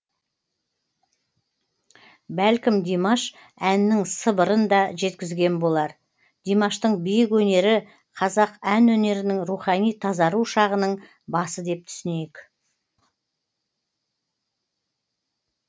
бәлкім димаш әннің сыбырын да жеткізген болар димаштың биік өнері қазақ ән өнерінің рухани тазару шағының басы деп түсінейік